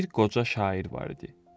Bir qoca şair var idi.